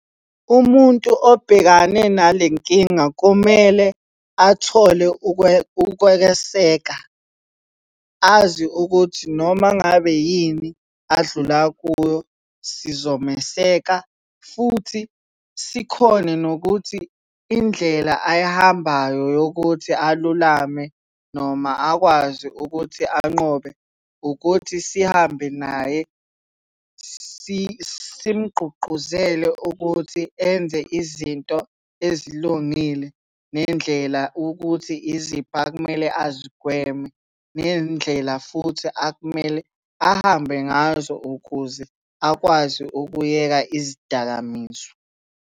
Umuntu obhekane nale nkinga kumele athole ukweseka. Azi ukuthi noma ngabe yini adlula kuyo, sizomeseka futhi sikhone nokuthi indlela ayihambayo yokuthi alulame noma akwazi ukuthi anqobe ukuthi sihambe naye, simugqugquzele ukuthi enze izinto ezilungile, nendlela ukuthi iziphi akumele azigweme. Nendlela futhi akumele ahambe ngazo ukuze akwazi ukuyeka izidakamizwa.